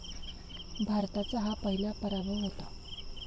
भारताचा हा पहिला पराभव होता.